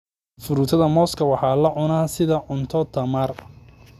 Fruitada mooska waxaa la cunaa sida cunto tamar.